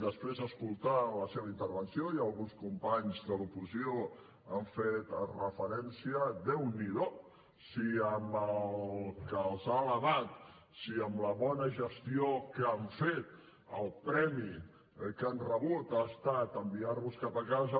després d’escoltar la seva intervenció i alguns companys de l’oposició hi han fet referència déu n’hi do si amb el que els ha alabat si amb la bona gestió que han fet el premi que han rebut ha estat enviar los cap a casa